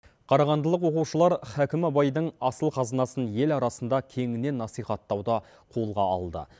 қарағандылық оқушылдар хәкім абайдың асыл қазынасын ел арасында кеңінен насихаттауды қолға алды